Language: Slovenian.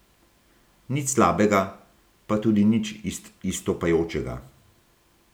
Nič slabega, pa tudi nič izstopajočega.